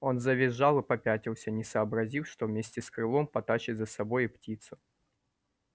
он завизжал и попятился не сообразив что вместе с крылом потащит за собой и птицу